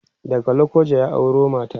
daga lokoja ya auro mata